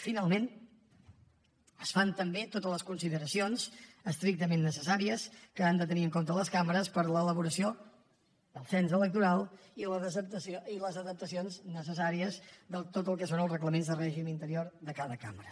finalment es fan també totes les consideracions estrictament necessàries que han de tenir en compte les cambres per a l’elaboració del cens electoral i les adaptacions necessàries de tot el que són els reglaments de règim interior de cada cambra